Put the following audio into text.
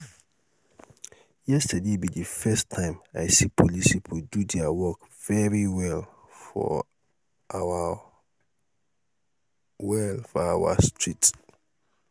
yesterday be the first time i see police people do dia work very well for our well for our street